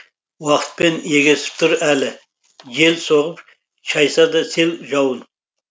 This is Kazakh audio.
уақытпен егесіп тұр әлі жел соғып шайса да сел жауын